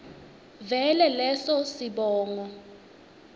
vele leso sibongo